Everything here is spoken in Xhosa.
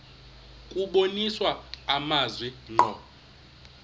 kubonisa amazwi ngqo